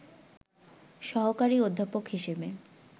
সহকারী অধ্যাপক হিসেবে